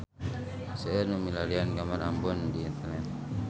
Seueur nu milarian gambar Ambon di internet